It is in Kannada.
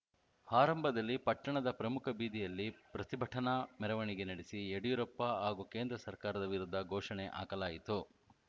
ಆರಂಭದಲ್ಲಿ ಪಟ್ಟಣದ ಪ್ರಮುಖ ಬೀದಿಯಲ್ಲಿ ಪ್ರತಿಭಟನಾ ಮೆರವಣಿಗೆ ನಡೆಸಿ ಯಡಿಯೂರಪ್ಪ ಹಾಗೂ ಕೇಂದ್ರ ಸರ್ಕಾರದ ವಿರುದ್ಧ ಘೋಷಣೆ ಹಾಕಲಾಯಿತು